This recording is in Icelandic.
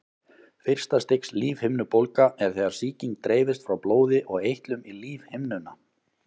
Fyrsta stigs lífhimnubólga er þegar sýking dreifist frá blóði og eitlum í lífhimnuna.